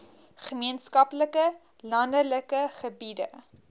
gemeenskappe landelike gebiede